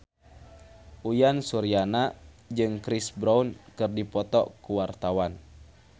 Uyan Suryana jeung Chris Brown keur dipoto ku wartawan